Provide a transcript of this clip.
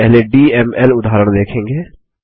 हम पहले डीएमएल उदाहरण देखेंगे